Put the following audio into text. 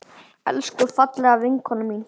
Elsku, fallega vinkona mín.